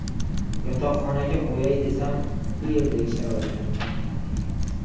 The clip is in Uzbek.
Yotoqxonaga qo‘yay desam, u yerdagi sharoitlar qoniqarli emas.